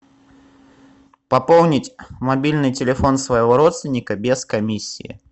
пополнить мобильный телефон своего родственника без комиссии